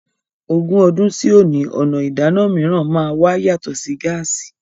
Ogún ọdún sí òní, ọ̀nà ìdáná mìíràn máa wà yàtọ̀ sí gáàsí.